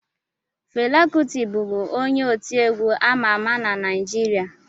Fela Kụti bụbu onye otiegwu ama ama na Naịjirịa